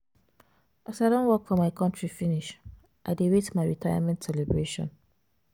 As I don work for my contri finish, I dey wait my retirement celebration.